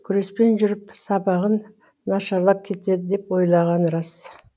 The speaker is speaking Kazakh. күреспен жүріп сабағың нашарлап кетеді деп ойлағаны рас